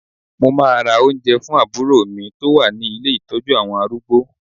Mo máa ma ra oúnjẹ fún àbúrò ìyá mi tó wà ní ilé Ìtọ́jú àwọn arúgbó.